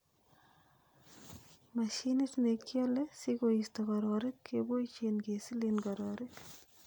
Mashinit nekiole sikoisto kororik keboishen kesilen kororik.